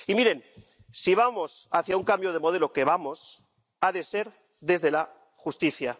Y miren, si vamos hacia un cambio de modelo ⸻que vamos⸻, ha de ser desde la justicia.